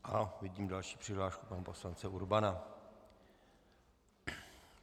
A vidím další přihlášku, pana poslance Urbana.